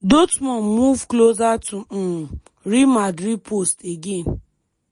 dortmund move closer to um real madrid post again.